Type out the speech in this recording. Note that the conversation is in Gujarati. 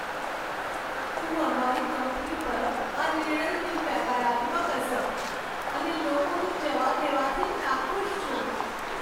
હું અમારી કંપની પર આ નિર્ણયની નકારાત્મક અસર અને લોકોને જવા દેવાથી નાખુશ છું.